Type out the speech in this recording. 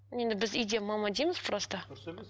енді бізде үйде мама дейміз просто дұрыс емес